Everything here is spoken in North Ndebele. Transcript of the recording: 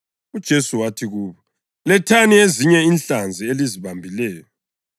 UJesu wathi kubo, “Lethani ezinye inhlanzi elizibambileyo.”